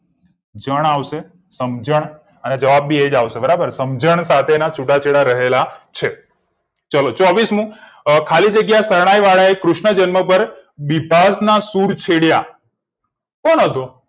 જણ આવશે સમજણ અને જવાબ બી એ જ આવશે બરાબર સમજણ સાથેના છુટા છેડા રહેલા છે ચલો ચોવીસમું ખાલી જગ્યા એ શરણાઈ વાળા એ કૃષ્ણ જન્મ પર બીછાદ ના સુર છેડ્યા કોણ હતું